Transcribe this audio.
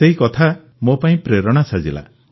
ପ୍ରଧାନମନ୍ତ୍ରୀ ଉଙ୍ଗଲ୍କେ ୟେନ୍ଦ୍ ପୁତହମ୍ ପିଡ଼ିକ୍କୁମ୍